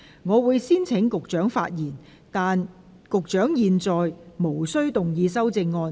我會先請局長發言，但他在現階段無須動議修正案。